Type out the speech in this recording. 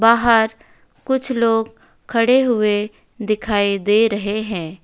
बाहर कुछ लोग खड़े हुए दिखाई दे रहे हैं।